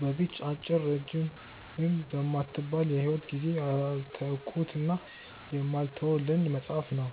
በዚህች አጭርም ረጅምም በማትባል የሂወት ጊዜዬ ያልተውኩትና የማልተወው ልምዴ መጻፍ ነው።